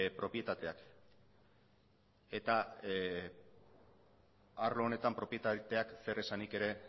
propietateak eta arlo honetan propietateak zeresanik ere